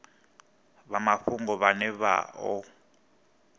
vha mafhungo vhane vha o